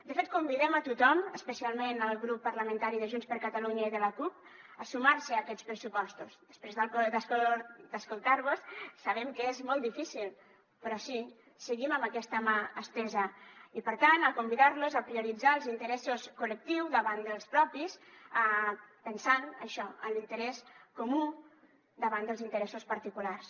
de fet convidem a tothom especialment el grup parlamentari de junts per catalunya i de la cup a sumar se a aquests pressupostos després d’escoltar vos sabem que és molt difícil però sí seguim amb aquesta mà estesa i per tant convidar los a prioritzar els interessos col·lectius davant dels propis pensant això en l’interès comú davant dels interessos particulars